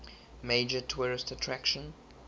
major tourist attraction